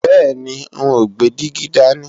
Bẹ́ẹ̀ni, n ó gbé dígí dání